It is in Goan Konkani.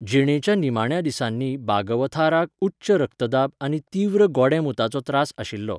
जिणेच्या निमाण्या दिसांनी बागवथाराक उच्च रक्तदाब आनी तीव्र गोडेंमूताचो त्रास आशिल्लो.